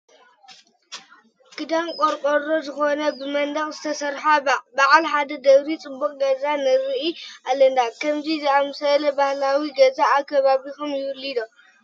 ክዳኑ ቆርቆሮ ዝኾነ ብመንደቕ ዝተሰርሐ በዓል ሓደ ደብሪ ፅቡቕ ገዛ ንርኢ ኣለና፡፡ ከምዚ ዝኣምሰለ ባህላዊ ገዛ ኣብ ከባቢኹም ይህሉ ዶ?